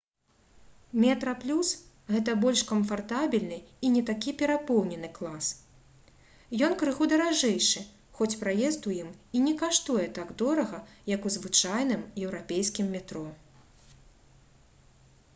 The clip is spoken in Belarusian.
«метраплюс» — гэта больш камфартабельны і не такі перапоўнены клас. ён крыху даражэйшы хоць праезд у ім і не каштуе так дорага як у звычайным еўрапейскім метро